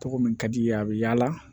Tɔgɔ min ka di i ye a bɛ yaala